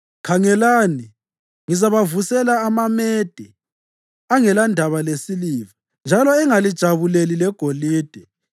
Khangelani, ngizabavusela amaMede angelandaba lesiliva, njalo engalijabuleli legolide.